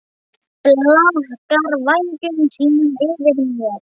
Blakar vængjum sínum yfir mér.